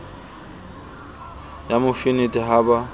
ya mo fenetha ha ba